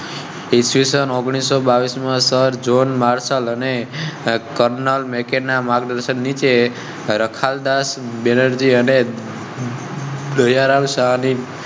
Spencer John Marshall ને colonel Mackay ના માર્ગદર્શન નીચે રખડાત બેનર્જી અને.